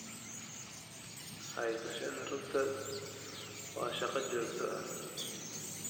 Haysashada rugta waa shaqo joogto ah.